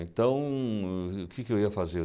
Então, o o que que eu ia fazer?